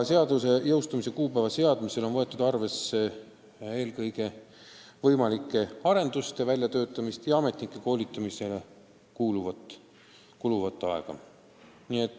Selle kuupäeva seadmisel on võetud arvesse eelkõige võimalike arenduste väljatöötamist ja ametnike koolitamisele kuluvat aega.